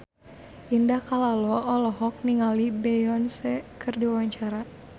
Indah Kalalo olohok ningali Beyonce keur diwawancara